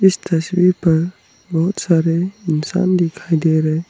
इस तस्वीर पर बहुत सारे इंसान दिखाई दे रहे --